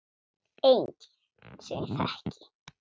Enginn sem ég þekki.